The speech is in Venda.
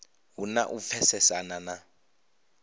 hu na u pfesesana na